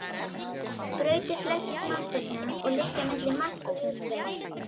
Brautir flestra smástirnanna liggja milli Mars og Júpíters.